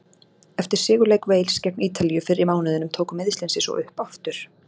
Eftir sigurleik Wales gegn Ítalíu fyrr í mánuðinum tóku meiðslin sig svo upp aftur.